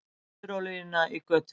Missti smurolíuna í götuna